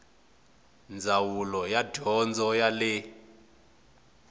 ndzawulo ya dyondzo ya le